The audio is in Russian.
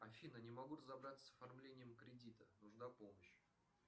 афина не могу разобраться с оформлением кредита нужна помощь